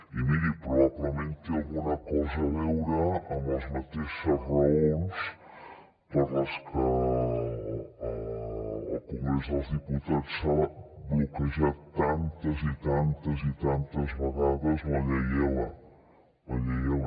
i miri probablement té alguna cosa a veure amb les mateixes raons per les que al congrés dels diputats s’ha bloquejat tantes i tantes i tantes vegades la llei ela la llei ela